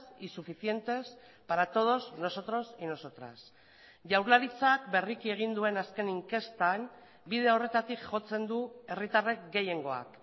y suficientes para todos nosotros y nosotras jaurlaritzak berriki egin duen azken inkestan bide horretatik jotzen du herritarrek gehiengoak